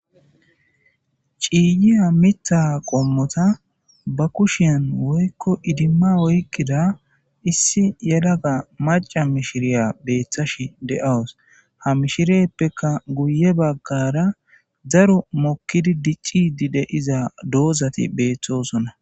Ciiyiya mitha qommota ba kushiyan woykko idimma woykkida issi yelaga maca mishiriya beeththash de7awus ha mishireppeka guye baggara zaro mokkidi dicci dide iza doozati beeththosona.